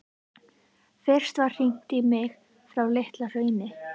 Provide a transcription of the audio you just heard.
Fyrst var hringt í mig frá Litla-Hrauni.